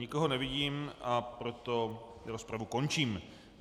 Nikoho nevidím, a proto rozpravu končím.